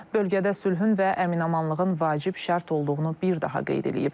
Bölgədə sülhün və əminamanlığın vacib şərt olduğunu bir daha qeyd eləyib.